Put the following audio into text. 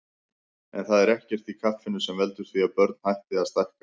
En það er ekkert í kaffinu sem veldur því að börn hætti að stækka.